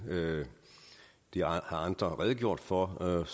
det har andre redegjort for og